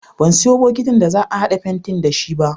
Ban sayo bokitin da za a haɗa fentin da shi ba.